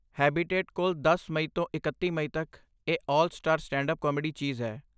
habitat ਕੋਲ ਦਸ ਮਈ ਤੋਂ ਇਕੱਤੀ ਮਈ ਤੱਕ ਇਹ 'ਆਲ ਸਟਾਰ ਸਟੈਂਡਅੱਪ ਕਾਮੇਡੀ' ਚੀਜ਼ ਹੈ